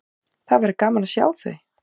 Það væri gaman að sjá þau.